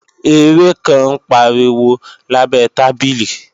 Eré kan ń pariwo lábẹ tábìlì